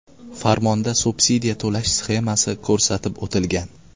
Farmonda subsidiya to‘lash sxemasi ko‘rsatib o‘tilgan.